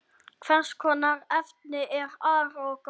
Hvers konar efni er argon?